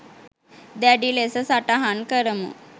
දැඩි ලෙස සටහන් කරමු